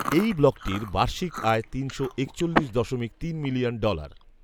এই ব্লগটির বার্ষিক আয় তিনশো একচল্লিশ দশমিক তিন মিলিয়ন ডলার